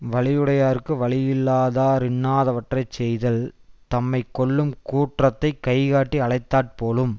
வலியுடையார்க்கு வலியில்லாதார் இன்னாதவற்றை செய்தல் தம்மை கொல்லும் கூற்றத்தைக் கைகாட்டி அழைத்தாற் போலும்